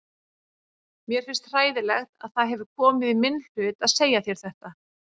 Mér finnst hræðilegt að það hefur komið í minn hlut að segja þér þetta.